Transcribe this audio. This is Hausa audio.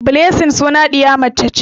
Blessing sunan ɗiya mace ce.